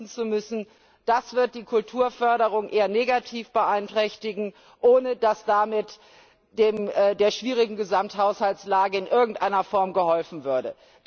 EUR verzichten zu müssen, das wird die Kulturförderung eher negativ beeinträchtigen, ohne dass damit der schwierigen Gesamthaushaltslage in irgendeiner Form geholfen würde.